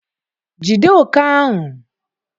Jide òké ahụ!